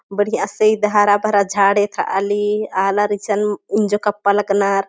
बढ़िया से ईद हरा भरा झाड़ येथ्राली आलर इसन इन्जो कपा लग्नर।